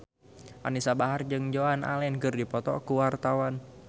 Anisa Bahar jeung Joan Allen keur dipoto ku wartawan